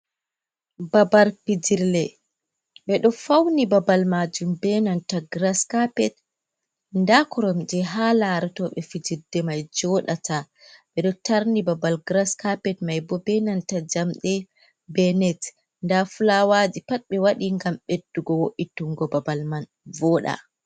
Babal pijirle ɓeɗo fauni babal majum be nanta gras carpet nda koromji ha laratoɓe fijirde mai joɗata ɓeɗo tarni babal gras carpet mai bo benanta jamɗe be net nda fulawaji pat ɓe wati ngam beddungo wo’itungo babal man voda.